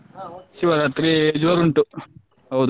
ಹಾ ಉಂಟು ಶಿವರಾತ್ರಿ ಜೋರ್ ಉಂಟು ಹೌದು.